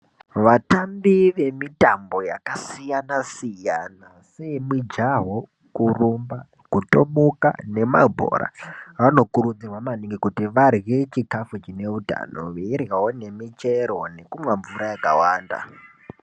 Vatambi vemitambo yakasiyana siyana seyemijaho, kurumba, kutomukaa nemabhora vanokurudzirwaa maningi kuti vadhlee chikafu chineutano, veidhlavo nemichero nekumwaa mvuraa yakawanda.